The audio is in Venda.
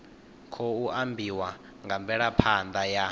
khou ambiwa nga mvelaphanḓa ya